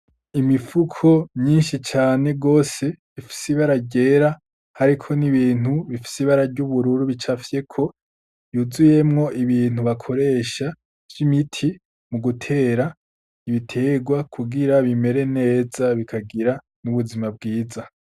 Imifuko myinshi cane gose ifise ibara ryera hariko n'ibintu bifise ibara ry'ubururu bicafyeko, yuzuyemwo ibintu bakoresha vy'imiti mu gutera ibitegwa kugira bimere neza bikagira n'ubuzima bwiza.